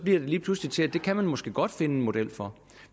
lige pludselig til at det kan man måske godt finde en model for